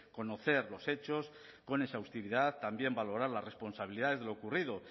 conocer los hechos con exhaustividad también valorar las responsabilidades de lo ocurrido